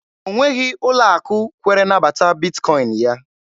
O nweghị ụlọ akụ kwere nabata Bitkọin ya.